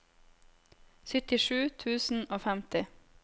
syttisju tusen og femti